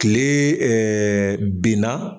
Tile binna